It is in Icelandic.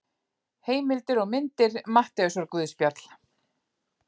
Heimildir og myndir Matteusarguðspjall.